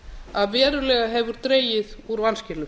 að verulega hefur dregið úr vanskilum